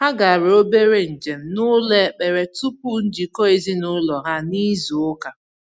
Ha gara obere njem n’ụlọ ekpere tupu njikọ ezinụlọ ha n’izu ụka.